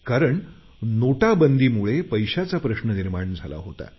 कारण नोटाबंदीमुळे पैशाचा प्रश्न निर्माण झाला होता